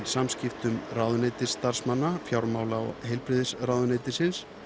samskiptum ráðuneytisstarfsmanna fjármála og heilbrigðisráðuneytisins